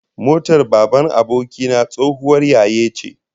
My friend's father's car was an old model